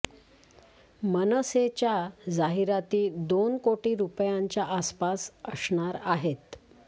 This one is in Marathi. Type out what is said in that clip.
मनसेच्या जाहिराती दोन कोटी रुपयांच्या आसपास असणार आहेत